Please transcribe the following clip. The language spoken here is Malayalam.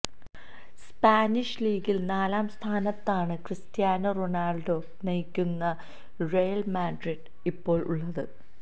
സ്പാനിഷ് ലീഗില് നാലാം സ്ഥാനത്താണ് ക്രിസ്റ്റ്യാനോ റൊണാള്ഡോ നയിക്കുന്ന റയല് മാഡ്രിഡ് ഇപ്പോള് ഉള്ളത്